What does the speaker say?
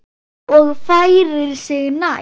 Og færir sig nær.